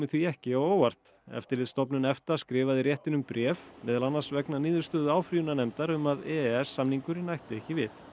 því ekki á óvart eftirlitsstofnun EFTA skrifaði réttinum bréf meðal annars vegna niðurstöðu áfrýjunarnefndar um að e e s samningurinn ætti ekki við